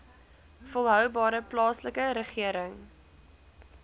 volhoubare plaaslike regering